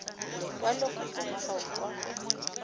lekwalokopo la gago kwa go